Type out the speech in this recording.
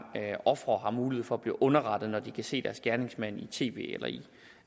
offer har mulighed for at blive underrettet når de kan se deres gerningsmand i tv eller i